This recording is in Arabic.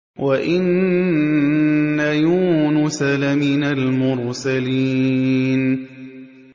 وَإِنَّ يُونُسَ لَمِنَ الْمُرْسَلِينَ